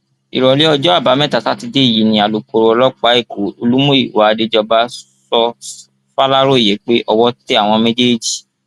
ìrọlẹ ọjọ àbámẹta sátidé yìí ni alūkkóró ọlọpàá ẹkọ olùmúyíwá àdéjọba sọ faláròyé pé owó tẹ àwọn méjèèjì